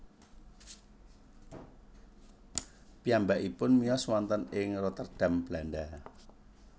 Piyambakipun miyos wonten ing Rotterdam Belanda